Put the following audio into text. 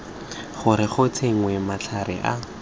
gore go tsenngwe matlhare a